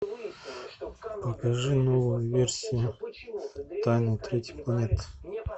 покажи новую версию тайна третьей планеты